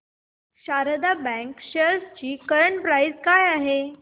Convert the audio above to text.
Sharda bank shares ची current price काय आहे